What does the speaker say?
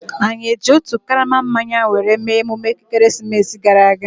Anyi eji otu karama mmanya were mee emume ekeresimesi gara aga?